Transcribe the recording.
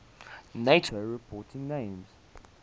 nato reporting names